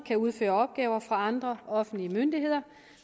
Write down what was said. kan udføre opgaver for andre offentlige myndigheder